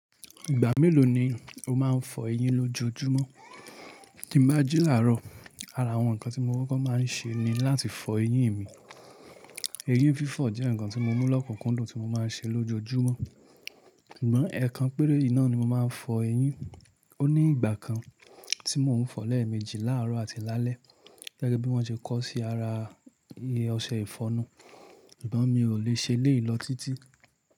Ìgbà mélòó ni o máa ń fọ eyín lójojúmọ́? Kí n bá jí láàárọ̀, ara àwọn nǹkan tí mo kọ́kọ́ máa ń ṣe ni láti fọ eyín mi. Eyín fífọ̀ jẹ́ nǹkan tí mo mú lọ́kùnkúndùn tí mo máa ń ṣe lójoojúmọ́. Sugbọ́n ẹ kan péré yi naa ni mo máa ń fọ eyín. Ó ní ìgbà kan tí mò ń fọlẹ̀ méjì láàárọ̀ àti lálẹ́ gẹ́gẹ́ bí wọ́n ṣe kọ́ sí ara iye ọṣẹ ìfọnu. Ìgbọ́n mi ò le ṣe léè ló títí.